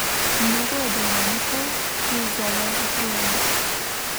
Mnogo je dejavnikov, ki izzovejo utrujenost.